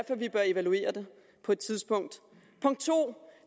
at vi bør evaluere det på et tidspunkt punkt 2